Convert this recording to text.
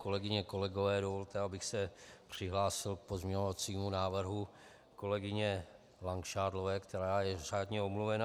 Kolegyně, kolegové, dovolte, abych se přihlásil k pozměňovacímu návrhu kolegyně Langšádlové, která je řádně omluvena.